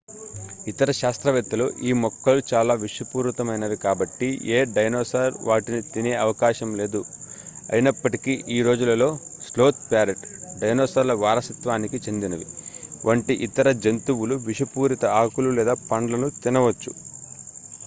ఇతర శాస్త్రవేత్తలు ఈ మొక్కలు చాలా విషపూరితమైనవి కాబట్టి ఏ డైనోసార్ వాటిని తినే అవకాశం లేదు అయినప్పటికీ ఈ రోజులలో స్లోత్ ప్యారెట్ డైనోసార్ల వారసత్వానికి చెందినవి వంటి ఇతర జంతువులు విషపూరిత ఆకులు లేదా పండ్లను తినవచ్చు